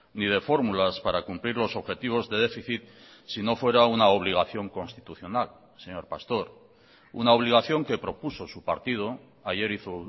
ni de fórmulas para cumplir los objetivos de déficit sino fuera una obligación constitucional señor pastor una obligación que propuso su partido ayer hizo